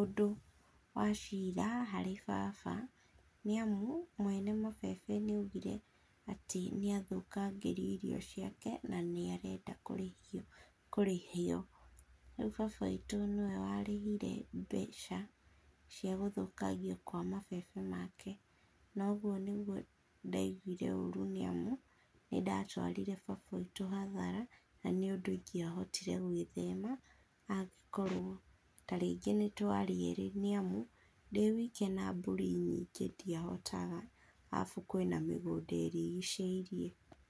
ũndũ wa cira harĩ baba nĩ amũ mwene mabebe nĩaũgire atĩ nĩathokagĩrio irio cĩake na ni areda kũrahĩo kũrĩhwo. Rĩũ baba witũ niwe warĩhire beca cĩa gũthũkangĩo kwa mabebe make, na ũgũo nĩgũo ndaigũire orũ nĩ amũ nĩ datwarire baba witũ hathara na nĩ ũndũ igĩa hotire gwithema, agĩkoro ta rĩngĩ nĩ tware eerĩ nĩ amũ dĩ wĩke na mbũrĩ nyĩnge dĩahotaga arabũ kwĩ mĩgũnda ĩrigicĩirie.